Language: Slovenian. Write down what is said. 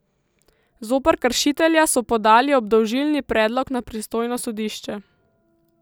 Zoper kršitelja so podali obdolžilni predlog na pristojno sodišče.